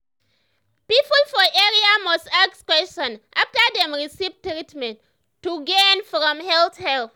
people for area must ask question after dem receive treatment to gain from health help.